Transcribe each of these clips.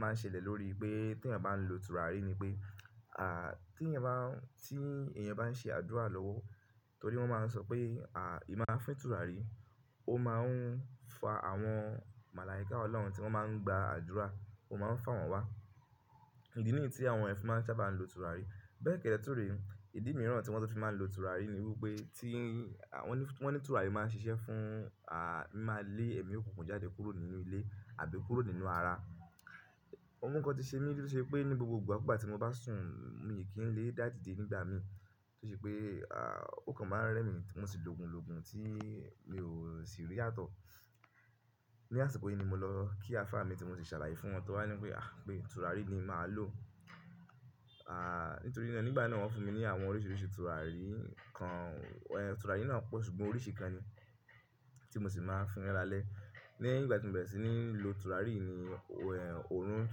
máa ń ṣẹlẹ̀ lórí pé tí ẹ̀yàn bá ń lo tùràrí ni pé, tí ẹ̀yàn bá ń ṣe àdúrà lọ́wọ́, torí wọ́n máa ń sọ pé, ì má fín tùràrí, ó maá n fa àwọn màlàíkà Ọlọ́run tí wọ́n maá ń gba àdúrà, ó maá ń fà wọ́n wá. Ìdí nìyí tí àwọn ẹ̀yan fi maa n sábà lo tùràrí. Bẹ́ẹ̀ kẹ́dẹ́ túre, ìdí mìíràn tí wọ́n tu fi má ń lo tùràrí ni wípé wọ́n ní tùràrí maá n ṣiṣẹ́ fún, mima lé ẹ̀mí òkùnkùn jáde kúrò nínú ilé àbí kúrò nínú ara. Òun kan ti ṣe mí tó ṣe pé ní gbogbo ìgbà kú ìgbà tí mo bá sùn, mi kì í lè dá dìde nígbà mí. Tó ṣe pé òòkan má a rẹ́ mi, mo sì lògun lògun tí mi ò sì rí yàtọ̀. Ni àsìkò yìí ni mo lọ kí àfá mi tí mo si ṣàlàyé fún, tọ wá ní wípé tùràrí ni mà á lò. Nítorí nígbà náà, wọ́n fún mi ní àwọn oríṣiríṣi tùràrí kan. Tùràrí náà pọ̀ ṣùgbọ́n oríṣi kan ni, tí mo sì máa n fin lala lé. Lèyin ìgbà tí mo bẹ̀rẹ̀ sí ní lo tùràrí yi ni òórùn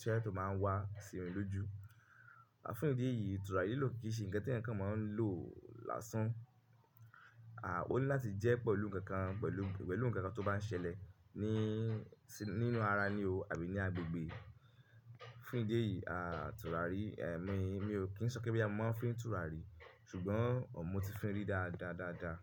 sèsé má ń wá sìmi lójú. Fún ìdí èyí tùràrí lilò kì í ṣe ǹkan tí ẹ̀yan kan má ń lò lásán. Óní láti jẹ́ pẹ̀lú ǹkan kan tó bá ń ṣẹlẹ̀ ní nínú ara ni tàbí ní agbègbè. Fún ìdí èyí tùràrí, mi ò kí ń sọ pé boya mo ma n fín tùràrí, ṣùgbọ́n ọmọ̀ ti fín rí dáadáa dáadáa.